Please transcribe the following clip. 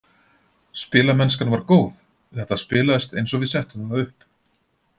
Spilamennskan var góð, þetta spilaðist eins og við settum það upp.